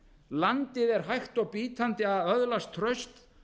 landið er hægt og bítandi að öðlast traust